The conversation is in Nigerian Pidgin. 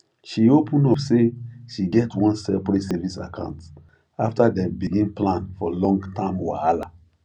she open up say she get one separate savings account after dem begin plan for long term whahala